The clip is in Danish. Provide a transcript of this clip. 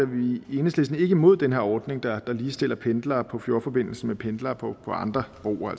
vi i enhedslisten ikke imod den her ordning der ligestiller pendlere på fjordforbindelsen med pendlere på andre broer